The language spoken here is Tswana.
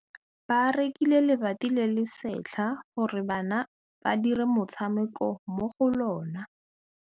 Ba rekile lebati le le setlha gore bana ba dire motshameko mo go lona.